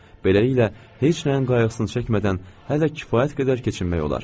Beləliklə, heç nəyin qayğısını çəkmədən hələ kifayət qədər keçinmək olar.